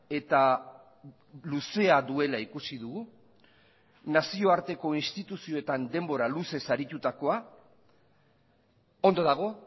eta luzea duela ikusi dugu nazioarteko instituzioetan denbora luzez aritutakoa ondo dago